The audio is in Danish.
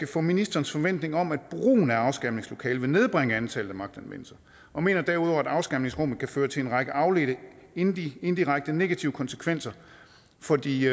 for ministerens forventning om at brugen af afskærmningslokalet vil nedbringe antallet af magtanvendelser og mener derudover at afskærmningsrummet kan føre til en række afledte indirekte indirekte negative konsekvenser for de